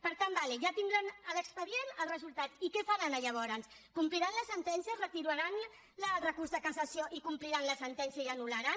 per tant d’acord ja tindran l’expedient el resultat i què faran aleshores compliran la sentència retiraran el recurs de cassació i compliran la sentència i anul·laran